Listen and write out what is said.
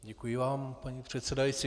Děkuji vám, paní předsedající.